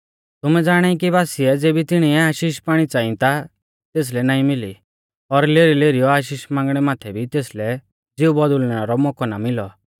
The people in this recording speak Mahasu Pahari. तुमै ज़ाणाई कि बासिऐ ज़ेबी तिणीऐ आशीष पाइणी च़ांई ता तेसलै नाईं मिली और लेरीलेरीयौ आशीष मांगणै माथै भी तेसलै ज़िऊ बौदुल़णै रौ मौकौ नाईं मिलौ